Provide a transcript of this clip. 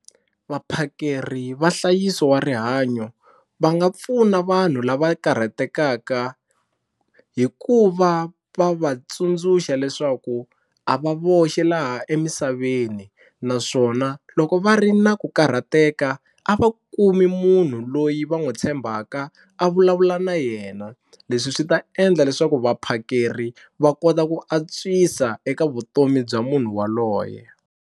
Vaphakeri va nhlayiso wa rihanyo va nga pfuna vanhu lava karhatekaka hi ku va va va tsundzuxa leswaku a va voxe laha emisaveni naswona loko va ri na ku karhateka a va kumi munhu loyi va n'wi tshembaka a vulavula na yena, leswi swi ta endla leswaku vaphakeri va kota ku antswisa eka vutomi bya munhu waloye.